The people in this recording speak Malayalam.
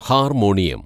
ഹാര്‍മോണിയം